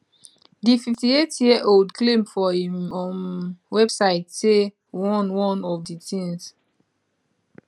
di 58 year old claim for im um website say one one of di tins